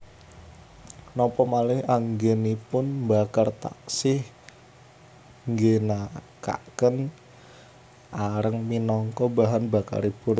Napa malih anggenipun mbakar taksih ngginakaken areng minangka bahan bakaripun